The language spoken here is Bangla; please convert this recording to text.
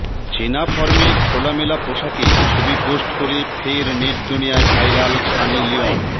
চেনা ফর্মে খোলামেলা পোশাকে ছবি পোস্ট করে ফের নেট দুনিয়ায় ভাইরাল সানি লিওন